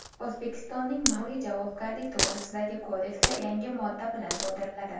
O‘zbekistonning Ma’muriy javobgarlik to‘g‘risidagi kodeksi yangi modda bilan to‘ldiriladi.